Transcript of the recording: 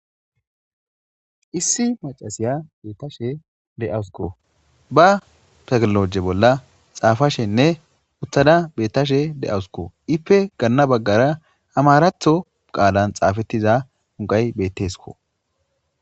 Issi macasiya beettashe de'awusuko ba tagnoloje bolla xaafashenne uttada beettashe de'awusukko ipe ganna baggara amaratho qaalan xaafettiza unqay bettesko.